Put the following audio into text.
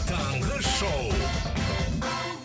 таңғы шоу